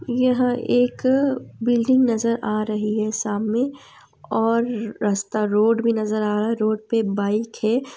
यहाँ एक बिल्डिंग नजर आ रही है सामने और रास्ता रोड भी नजर आ रहा है रोड पर बाइक है --